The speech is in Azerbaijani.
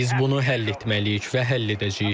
Biz bunu həll etməliyik və həll edəcəyik.